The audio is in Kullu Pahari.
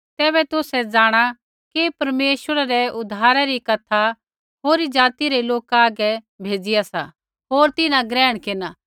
तैबै तुसै जाँणा कि परमेश्वरै रै उद्धारै री कथा होरी ज़ाति रै लोका हागै भेज़िआ सा होर तिन्हां ग्रहण केरना